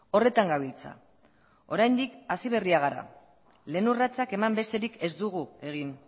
horretan gabiltza oraindik hasi berriak gara lehen urratsak eman besterik ez dugu egin